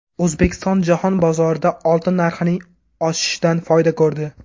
O‘zbekiston jahon bozorida oltin narxining oshishidan foyda ko‘rdi.